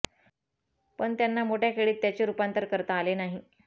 पण त्यांना मोठय़ा खेळीत त्याचे रूपांतर करता आले नाही